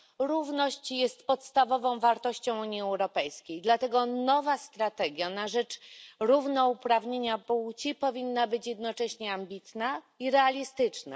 Równość jest podstawową wartością Unii Europejskiej, dlatego nowa strategia na rzecz równouprawnienia płci powinna być jednocześnie ambitna i realistyczna.